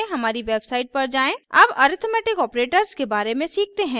अब arithmetic operators के बारे में सीखते हैं